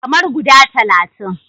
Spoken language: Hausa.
Kamar guda talatin.